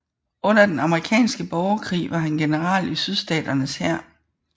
Under den amerikanske borgerkrig var han general i Sydstaternes hær